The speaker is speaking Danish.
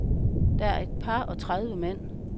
Der er et par og tredive mand.